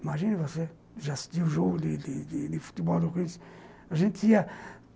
Imagina você, já assistiu o jogo de de de futebol do Corinthians. A gente tinha